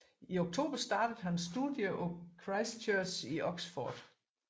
I oktober startede han studier på Christ Church i Oxford